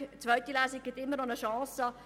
Die zweite Lesung birgt immer noch eine Chance.